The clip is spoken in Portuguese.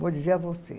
Vou dizer a você.